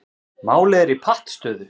Málið er í pattstöðu